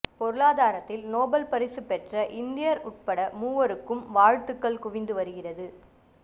பொருளாதாரத்தில் நோபல் பரிசு பெற்ற இந்தியர் உள்பட மூவருக்கும் வாழ்த்துக்கள் குவிந்து வருகிறது